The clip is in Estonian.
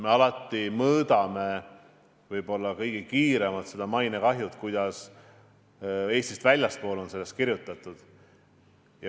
Me mõõdame võib-olla kõige kiiremini mainekahju selle järgi, kuidas Eestist väljaspool on sellest kirjutatud.